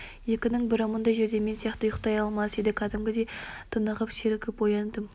екінің бірі мұндай жерде мен сияқты ұйықтай алмас еді кәдімгідей тынығып сергіп ояндым